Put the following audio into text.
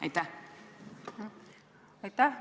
Aitäh!